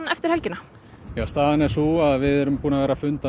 eftir helgina staðan er sú að við erum búin að vera funda